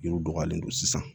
Yiriw dɔgɔyalen don sisan